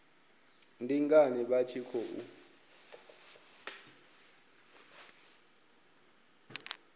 ndi ngani vha tshi khou